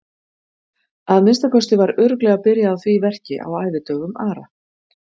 Að minnsta kosti var örugglega byrjað á því verki á ævidögum Ara.